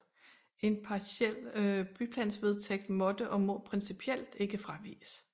En partiel byplanvedtægt måtte og må principielt ikke fraviges